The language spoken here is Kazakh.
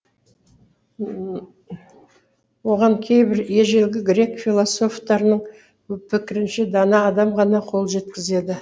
оған кейбір ежелгі грек философтарының пікірінше дана адам ғана қол жеткізеді